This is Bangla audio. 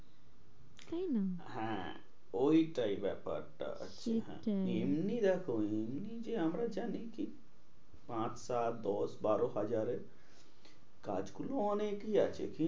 হ্যাঁ, ওইটাই ব্যাপারটা হ্যাঁ সেটাই এমনি দেখো এমনি যে আমরা জানি কিন্তু আট সাত দশ বারো হাজারে কাজ গুলো অনেকই আছে।